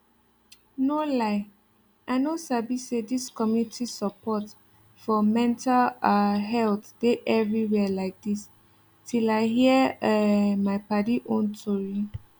no lie i no sabi say dis community support for mental um health dey everywhere like dis till i hear um my padi own tori